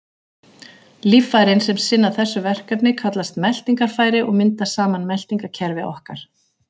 Líffærin sem sinna þessu verkefni kallast meltingarfæri og mynda saman meltingarkerfi okkar.